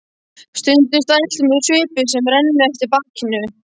Stundum stæltur með svipu sem rennur eftir bakinu.